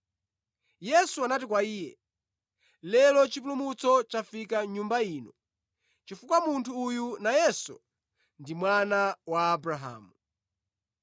Yesu anati kwa iye, “Lero chipulumutso chafika mʼnyumba ino, chifukwa munthu uyu nayenso ndi mwana wa Abrahamu.